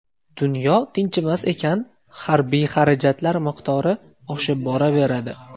Dunyo tinchimas ekan, harbiy xarajatlar miqdori oshib boraveradi.